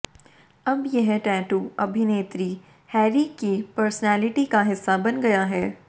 अब यह टैटू अभिनेत्री हैरी की पर्सनेलिटी का हिस्सा बन गया है